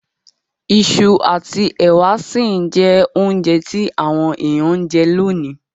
Isu àtí èwà si n je ounje ti àwon èyàn n je lonìí